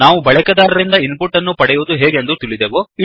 ನಾವು ಬಳಕೆದಾರರಿಂದ input ಅನ್ನು ಪಡೆಯುವುದು ಹೇಗೆಂದು ತಿಳಿದೆವು